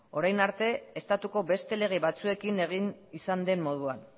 orain arte estatuko beste lege batzuekin egin izan den moduan